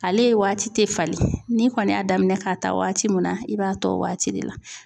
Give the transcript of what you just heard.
Ale ye waati te falen, ni kɔni y'a daminɛ k'a ta waati min na, i b'a tɔ waati de la.